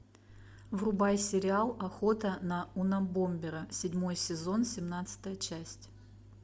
врубай сериал охота на унабомбера седьмой сезон семнадцатая часть